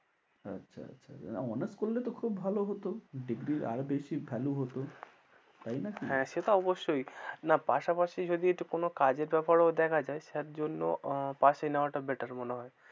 আচ্ছা আচ্ছা honours করলে তো খুব ভালো হতো, degree র আরও বেশি value হতো, তাই না কি? হ্যাঁ সে তো অবশ্যই, না পাশাপাশি যদি কোনো কাজের ব্যপারেও দেখা যায় তার জন্য pass এ নেওয়াটা better মনে হয়।